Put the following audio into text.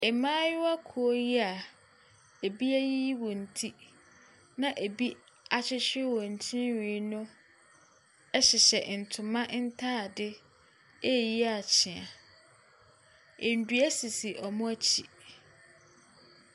Mmaayewa kuo yi a ebi ayiyi wɔn ti na ebi ahyehye wɔn tiri nwi ɛhyehyɛ ntoma ntaade reyi akyea. Nnua sisi wɔn akyi.